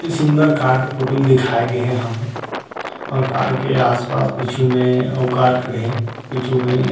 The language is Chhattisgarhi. इ सुन्दर कार के फोटो ल दिखाए गे हे यहाँ पे अउ कार के आस पास पिछु में अउ कार खड़े हे पिछु में।